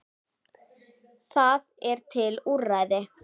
Það eru til úrræði.